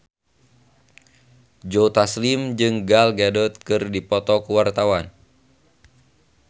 Joe Taslim jeung Gal Gadot keur dipoto ku wartawan